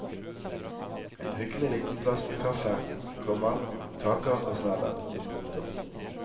En hyggelig liten plass med kaffe, komma kaker og snadder. punktum